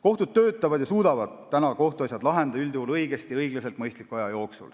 Kohtud töötavad ja suudavad kohtuasjad lahendada üldjuhul õigesti ja õiglaselt ning mõistliku aja jooksul.